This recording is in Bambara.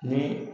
Ni